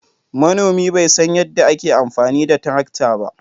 Manomi bai san yadda ake amfani da tarakta ba.